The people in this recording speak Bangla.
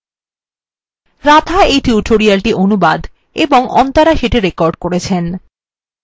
আমি anirban স্বাক্ষর করলাম যোগ দেওয়ার জন্য ধন্যবাদ